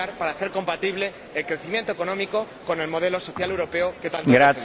Cambiar para hacer compatible el crecimiento económico con el modelo social europeo que tanto defendemos.